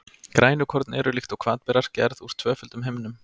Grænukorn eru, líkt og hvatberar, gerð úr tvöföldum himnum.